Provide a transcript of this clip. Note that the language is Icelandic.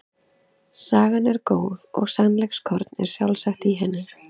Sagan er góð og sannleikskorn er sjálfsagt í henni.